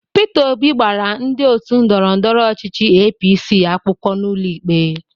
Pita Obi gbara ndị otu ndọrọndọrọ ọchịchị APC akwụkwọ n'ụlọ ikpe.